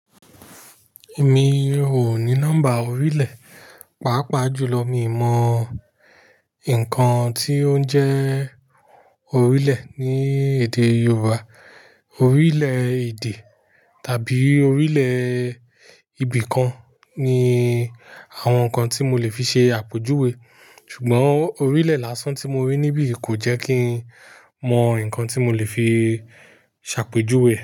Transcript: Mi ò ní nọ́mbà orílẹ̀. Pàápàá jùlọ mi ò mọ nǹkan tí ó ń jẹ́ orílẹ̀ ní èdè Yorùbá. Orílẹ̀-èdè tàbí orílẹ̀ ìbìkan ni àwọn nǹkan tí mo lè fi ṣe àpèjúwe. Ṣùgbọ́n orílẹ̀ lásán tí mo rí níbí kò jẹ́ kí n mọ nǹkan tí mo lè fi ṣàpèjúwe.